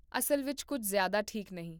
ਅਸਲ ਵਿੱਚ ਕੁੱਝ ਜ਼ਿਆਦਾ ਠੀਕ ਨਹੀਂ